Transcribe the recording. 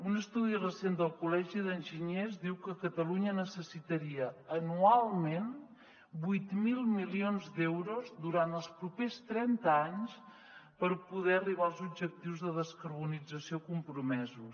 un estudi recent del col·legi d’enginyers diu que catalunya necessitaria anualment vuit mil milions d’euros durant els propers trenta anys per poder arribar als objectius de descarbonització compromesos